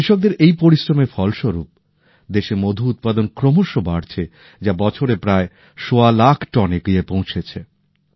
কৃষকদের এই পরিশ্রমের ফলস্বরূপ দেশে মধু উৎপাদন ক্রমশঃ বাড়ছেযা বছরে প্রায় সোয়া লাখ টনে গিয়ে পৌঁছেছে